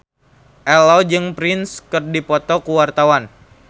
Ello jeung Prince keur dipoto ku wartawan